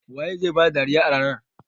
Wa zai ba da dariya a ranar?